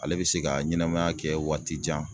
Ale be se ka ɲɛnɛmaya kɛ waati jan